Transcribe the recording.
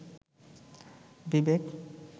বিবেক